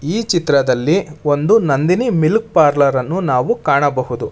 ಈ ಚಿತ್ರದಲ್ಲಿ ಒಂದು ನಂದಿನಿ ಮಿಲ್ಕ್ ಪಾರ್ಲರ್ ಅನ್ನು ಕಾಣಬಹುದು.